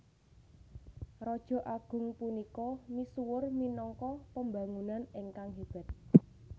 Raja agung punika misuwur minangka pembangun ingkang hébat